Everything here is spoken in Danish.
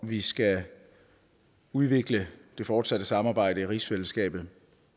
vi skal udvikle det fortsatte samarbejde i rigsfællesskabet